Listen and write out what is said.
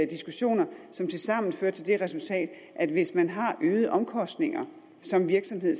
diskussioner som tilsammen fører til det resultat at hvis man har øgede omkostninger som virksomhed